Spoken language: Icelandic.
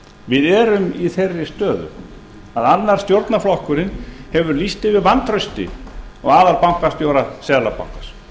við erum í þeirri stöðu að annar stjórnarflokkurinn hefur lýst yfir vantrausti á aðalbankastjóra seðlabankans